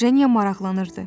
Jenya maraqlanırdı.